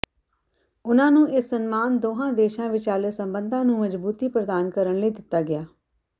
ਉਨ੍ਹਾਂ ਨੂੰ ਇਹ ਸਨਮਾਨ ਦੋਹਾਂ ਦੇਸ਼ਾਂ ਵਿਚਾਲੇ ਸੰਬੰਧਾਂ ਨੂੰ ਮਜ਼ਬੂਤੀ ਪ੍ਰਦਾਨ ਕਰਨ ਲਈ ਦਿੱਤਾ ਗਿਆ